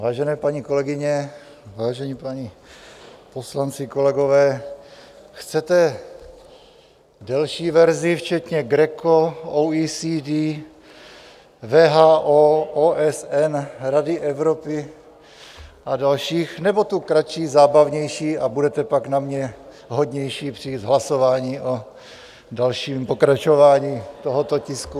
Vážené paní kolegyně, vážení páni poslanci, kolegové, chcete delší verzi včetně GRECO, OECD, WHO, OSN, Rady Evropy a dalších, nebo tu kratší, zábavnější, a budete pak na mě hodnější při hlasování o dalším pokračování tohoto tisku?